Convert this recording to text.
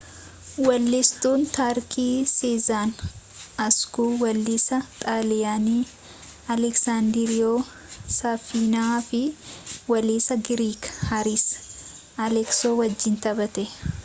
weellistuun tarkii seezen askuu weellisaa xaaliyaanii alessaandiroo saafiinaa fi weellisaa giriik haariis aleksoo wajjiin taphatte